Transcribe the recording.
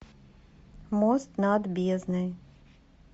мост над бездной